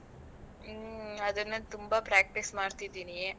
ಹ್ಮ್. ಅದನ್ನೇ ತುಂಬಾ practice ಮಾಡ್ತಿದೀನಿ.